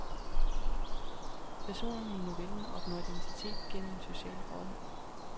Personerne i novellen opnår identitet gennem social rolle.